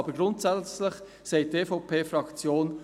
Aber grundsätzlich sagt die EVP-Fraktion: